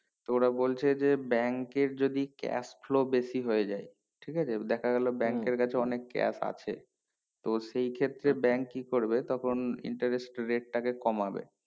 তো ওরা বলছে যে bank এর যদি cash flow বেশি হয়ে যাই ঠিকাছে দেখা গেলো bank এর কাছে অনেক cash আছে তো সেই ক্ষেত্রে bank কি করবে তখন interest rate টাকে কমাবে